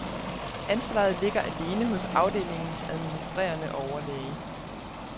Ansvaret ligger alene hos afdelingens administrerende overlæge.